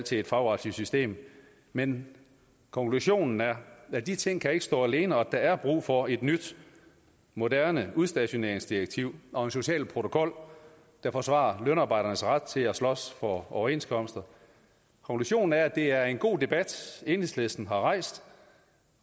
til et fagretligt system men konklusionen er at de ting ikke kan stå alene og at der er brug for et nyt moderne udstationeringsdirektiv og en social protokol der forsvarer lønarbejdernes ret til at slås for overenskomster konklusionen er at det er en god debat enhedslisten har rejst